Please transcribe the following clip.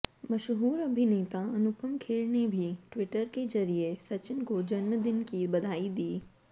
मशहूर अभिनेता अनुपम खेर ने भी ट्विटर के जरिए सचिन को जन्मदिन की बधाई दी